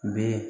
Bɛ